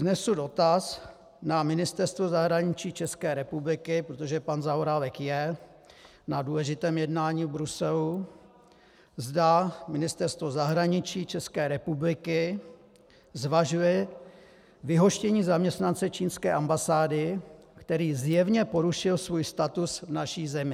Vznesu dotaz na Ministerstvo zahraničí České republiky, protože pan Zaorálek je na důležitém jednání v Bruselu, zda Ministerstvo zahraničí České republiky zvažuje vyhoštění zaměstnance čínské ambasády, který zjevně porušil svůj status v naší zemi.